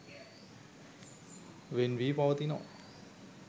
වෙන් වී පවතිනවා.